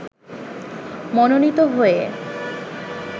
মনোনীত হয়ে